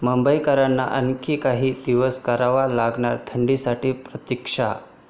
मुंबईकरांना आणखी काही दिवस करावी लागणार थंडीसाठी प्रतिक्षा